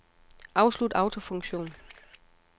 Afslut autofunktion.